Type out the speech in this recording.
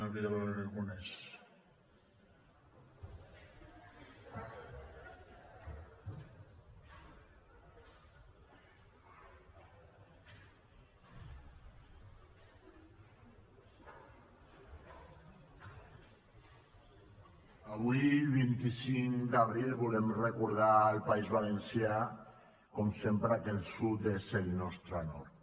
avui vint cinc d’abril volem recordar al país valencià com sempre que el sud és el nostre nord